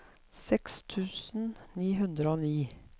seks tusen ni hundre og ni